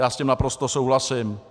Já s tím naprosto souhlasím.